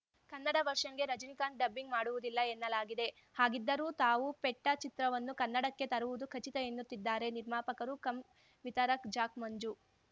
ಕನ್ನಡ ವರ್ಷನ್‌ಗೆ ರಜನಿಕಾಂತ್‌ ಡಬ್ಬಿಂಗ್‌ ಮಾಡುವುದಿಲ್ಲ ಎನ್ನಲಾಗಿದೆ ಹಾಗಿದ್ದರೂ ತಾವು ಪೆಟ್ಟಾ ಚಿತ್ರವನ್ನು ಕನ್ನಡಕ್ಕೆ ತರುವುದು ಖಚಿತ ಎನ್ನುತ್ತಿದ್ದಾರೆ ನಿರ್ಮಾಪಕರು ಕಮ್‌ ವಿತರಕ್ ಜಾಕ್‌ ಮಂಜು